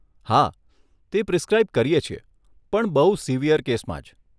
હા, તે પ્રિસક્રાઇબ કરીએ છીએ પણ બહુ સિવિયર કેસમાં જ.